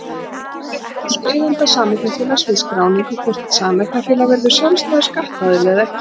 Það fer eftir ósk eiganda sameignarfélags við skráningu hvort sameignarfélag verður sjálfstæður skattaðili eða ekki.